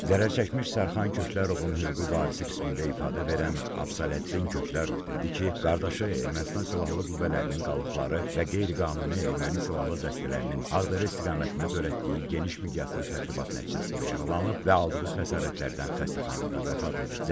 Zərər çəkmiş Sərxan Köklərovun hüquqi varisi qismində ifadə verən Əfsələddin Köklərov dedi ki, qardaşı Ermənistan silahlı qüvvələrinin qalıqları və qeyri-qanuni erməni silahlı dəstələrinin Ağdərə istiqamətində törətdiyi geniş miqyaslı təxribat nəticəsində yaralanıb və aldığı xəsarətlərdən xəstəxanada vəfat edib.